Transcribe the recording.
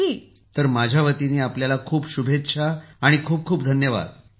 प्रधानमंत्री जीः तर माझ्यावतीनं आपल्याला खूप शुभेच्छा आणि खूप खूप धन्यवाद